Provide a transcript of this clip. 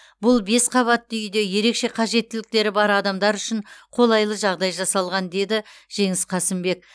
бұл бес қабатты үйде ерекше қажеттіліктері бар адамдар үшін қолайлы жағдай жасалған деді жеңіс қасымбек